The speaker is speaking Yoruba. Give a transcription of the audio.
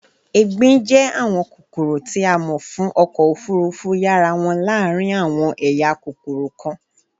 égbin jẹ awọn kokoro ti a mọ fun ọkọ ofurufu yara wọn laarin awọn eya kokoro kan